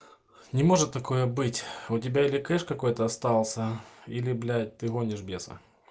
не может такое быть у тебя или кэш какой-то остался или блять ты гонишь беса